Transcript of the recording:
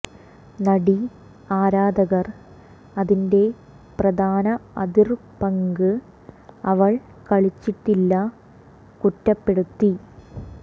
നടി ആരാധകർ അതിന്റെ പ്രധാന അതിർ പങ്ക് അവൾ കളിച്ചിട്ടില്ല കുറ്റപ്പെടുത്തി